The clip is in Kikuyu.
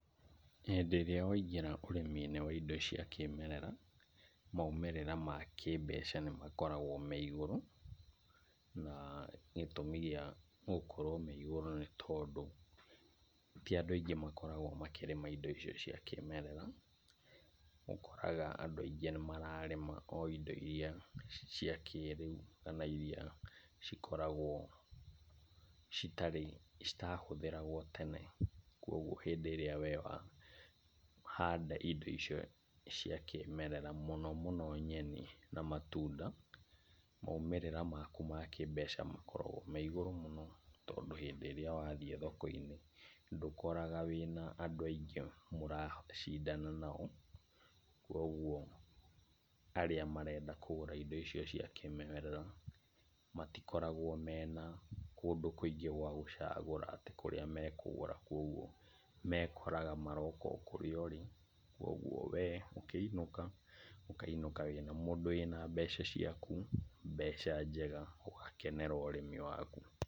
Hĩndĩ ĩrĩa waingĩra ũrĩmi-inĩ wa indo cia kĩmerera, maumĩrĩra ma kĩmbeca nĩ makoragwo me igũrũ , na gĩtũmi gĩa gũkorwo me igũrũ nĩ tondũ , ti andũ aingĩ makoragwo makĩrĩma indo icio cia kĩmerera , ũkoraga andũ aingĩ nĩ mararĩma o indo iria cia kĩrĩu, kana iria cikoragwo , citarĩ citahũthagĩrwo tene, kũgwo hĩndĩ rĩrĩa we wahanda indo icio cia kĩmerera, mũno mũno nyeni na matunda, maumĩrĩra maku ma kĩmbeca makoragwo me igũrũ mũno, tondũ hĩndĩ ĩrĩa wathiĩ thoko-inĩ ndukoraga wĩna andũ aingĩ ũracindana nao, kũgwo arĩa marenda kũgũra indo icio cia kĩmerera ,matikoragwo mena kũndũ kũingĩ gwa gũcagũra, atĩ kũrĩa makũgũra , kũgwo mekoraga maroka o kũrĩa ũrĩ, kũgwo we ũkĩinũka, ũkainũka wĩ mũndũ wĩna mbeca ciaku, mbeca njega ũgakenera ũrĩmi waku.